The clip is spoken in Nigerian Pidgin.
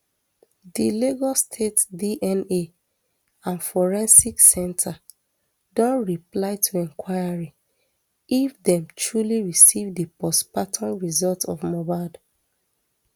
di lagos state dna and forensic center don reply to inquiry if dem truly receive di postmortem result of mohbad